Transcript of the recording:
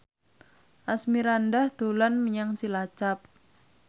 Asmirandah dolan menyang Cilacap